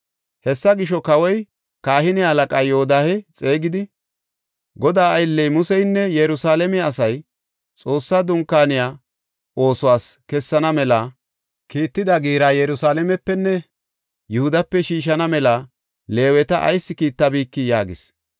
Hessa gisho, kawoy kahine halaqaa Yoodahe xeegidi, “Godaa aylley Museynne Yerusalaame asay Xoossa dunkaaniya oosuwas kessana mela kiitida giira Yerusalaamepenne Yihudape shiishana mela Leeweta ayis kiittabikii?” yaagis.